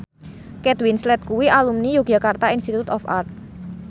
Kate Winslet kuwi alumni Yogyakarta Institute of Art